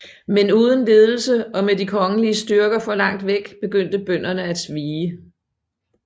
Men uden ledelse og med de kongelige styrker for langt væk begyndte bønderne at vige